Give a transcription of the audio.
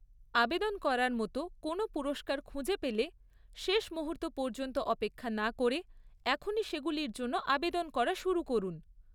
আবেদন করার মতো কোনও পুরস্কার খুঁজে পেলে, শেষ মুহূর্ত পর্যন্ত অপেক্ষা না করে এখনই সেগুলির জন্য আবেদন করা শুরু করুন।